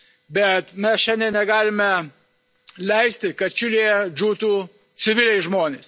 Bet mes šiandien negalime leisti, kad Čilėje žūtų civiliai žmonės.